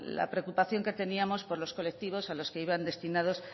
la preocupación que teníamos por los colectivos a los que iban destinadas